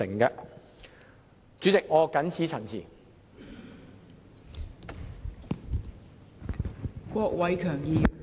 代理主席，我謹此陳辭。